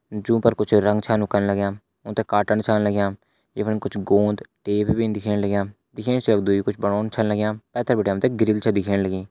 जू पर कुछ रंग छन यु कन लग्या ऊ थे काटन छण लग्या ये फणी कुछ गोंद टेप भिन दिखेण लग्या दिखेण सी लगदु यु कुछ बणोंन छन लग्या पैथर बटे हमथे ग्रिल छ दिखेण लगीं।